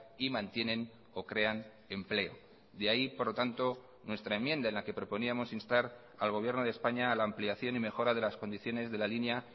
y mantienen o crean empleo de ahí por lo tanto nuestra enmienda en la que proponíamos instar al gobierno de españa a la ampliación y mejora de las condiciones de la línea